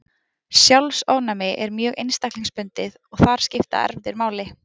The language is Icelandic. Sjálfsofnæmi er mjög einstaklingsbundið og þar skipta erfðir máli.